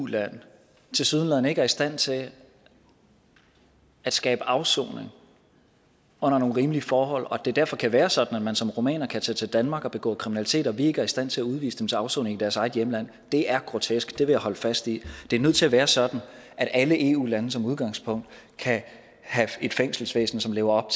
eu land tilsyneladende ikke er i stand til at skabe afsoning under nogle rimelige forhold og at det derfor kan være sådan at man som rumæner kan tage til danmark og begå kriminalitet og vi ikke er i stand til at udvise dem til afsoning i deres eget hjemland det er grotesk det vil jeg holde fast i det er nødt til at være sådan at alle eu lande som udgangspunkt kan have et fængselsvæsen som lever op